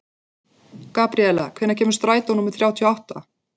Gabríela, hvenær kemur strætó númer þrjátíu og átta?